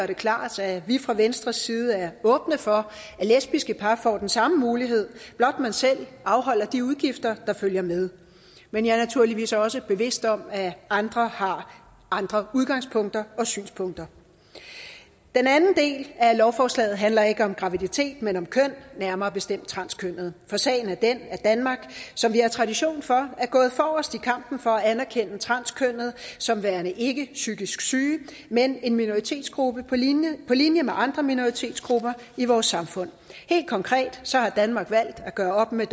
det klart at vi fra venstres side er åbne for at lesbiske par får den samme mulighed blot man selv afholder de udgifter der følger med men jeg er naturligvis også bevidst om at andre har andre udgangspunkter og synspunkter den anden del af lovforslaget handler ikke om graviditet men om køn nærmere bestemt transkønnede for sagen er den at danmark som vi har tradition for er gået forrest i kampen for at anerkende transkønnede som værende ikkepsykisk syge men en minoritetsgruppe på linje på linje med andre minoritetsgrupper i vores samfund helt konkret har danmark valgt at gøre op med